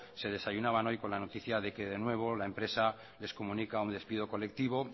que desayunaban hoy con la noticia de que nuevo la empresa les comunica un despido colectivo